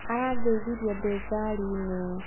Arangeithirie ndĩ ngari-inĩ.